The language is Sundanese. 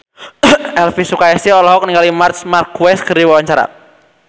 Elvy Sukaesih olohok ningali Marc Marquez keur diwawancara